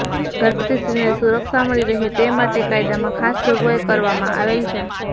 ગર્ભવતી સ્ત્રીને સુરક્ષા મળી રહે તે માટે કાયદામાં ખાસ જોગવાઈ કરવામાં આવેલ છે